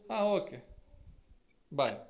ಆ okay bye .